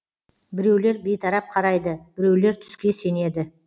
біреулер бейтарап қарайды біреулер түске сенеді